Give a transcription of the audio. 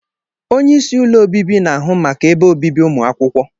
Onye isi ụlọ obibi na-ahụ maka ebe obibi ụmụ akwụkwọ.